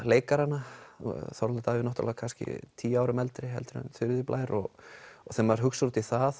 leikaranna Þorvaldur Davíð kannski tíu árum eldri heldur en Þuríður Blær og þegar maður hugsar út í það